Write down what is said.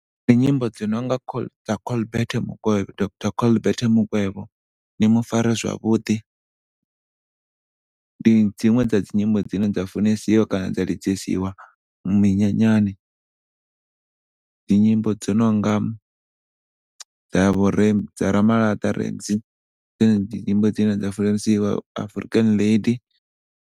Ndi nyimbo dzi nonga dza colbert mukwevho, d_r colbert mukwevho ni mu fare zwavhuḓi. Ndi dziṅwe dza dzi nyimbo dzine dza funesiwa kana dza lidzesiwa minyanyani. Dzi nyimbo dzo nonga dza vho Ramalata Ramzeey ndi dzone dzi nyimbo dzine dza funeswa, african lady.